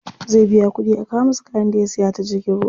Zai biya kuɗi a kawo masa kayan da ya siya ta jirgin ruwa.